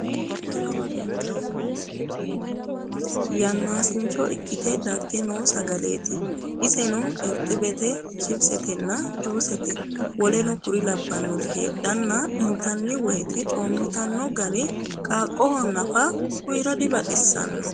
Yanaasincho ikkitte dage noo sagaleetti isenno irixibbette chipsettenna juussette wkl Heedhanna iinttanni woyiitte coomittanno garri garri qaaqoho naa uyiira dibaxisaanno